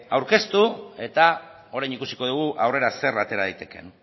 aurkeztu eta orain ikusiko dugu aurrera zer atera daitekeen